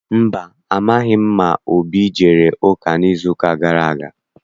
Mba, amaghị m ma Obi ejere ụka n'izuụka gara aga.